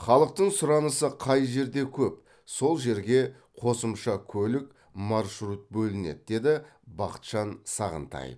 халықтың сұранысы қай жерде көп сол жерге қосымша көлік маршрут бөлінеді деді бахытжан сағынтаев